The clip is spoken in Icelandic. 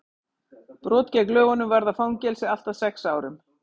brot gegn lögunum varða fangelsi allt að sex árum